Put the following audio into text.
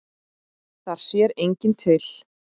Þar sér enginn til.